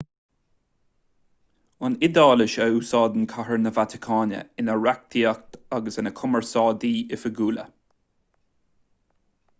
an iodáilis a úsáideann cathair na vatacáine ina reachtaíocht agus ina cumarsáidí oifigiúla